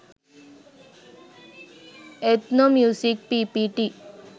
ethnomusic ppt